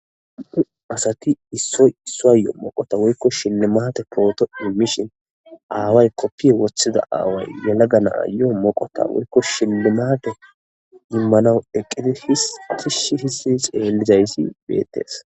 sati isso issuayoo moqota woykko shinnemate pooto immishin aaway koppiye woththida aaway yalaganaa yoo moqota woykko shilnimate yimmanawu eqqidi his afishi hissi xeellizayssi beettes.